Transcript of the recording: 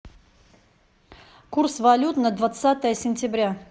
курс валют на двадцатое сентября